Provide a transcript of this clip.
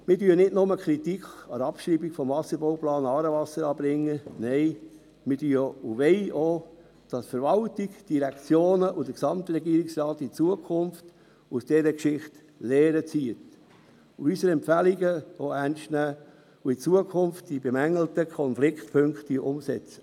Wir bringen nicht nur Kritik an der Abschreibung des Wasserbauplans «Aarewasser» an, nein: Wir wollen auch, dass die Verwaltung, die Direktionen und der Gesamtregierungsrat in Zukunft aus dieser Geschichte Lehren ziehen und unsere Empfehlungen auch ernst nehmen sowie die bemängelten Konfliktpunkte in Zukunft umsetzen.